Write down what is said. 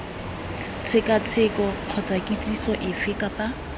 tshekatsheko kgotsa kitsiso efe kapa